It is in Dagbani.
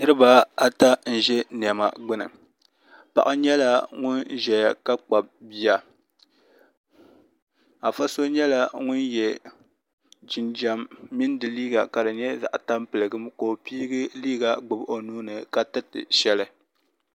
Niriba ata n ʒɛ niɛma gbini paɣa nyɛla ŋun ʒɛya ka kpabi bia afa so nyɛla ŋun ye jinjiɛm ni di liiga ka di nyɛ zaɣa tampiligim ka o piigi liiga gbibi o nuuni ka tiriti sheli.